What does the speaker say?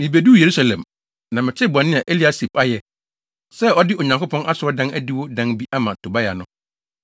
Mibeduu Yerusalem, na metee bɔne a Eliasib ayɛ, sɛ ɔde Onyankopɔn Asɔredan adiwo dan bi ama Tobia no,